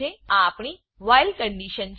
આ આપણી while while condition છે